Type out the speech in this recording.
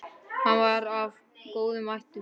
Hann var af góðum ættum.